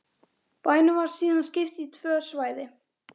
Er þetta eðlileg álagning?